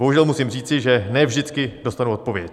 Bohužel musím říci, že ne vždycky dostanu odpověď.